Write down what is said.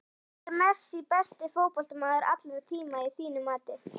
Er Messi besti fótboltamaður allra tíma að þínu mati?